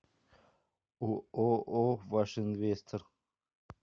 ооо ваш инвестор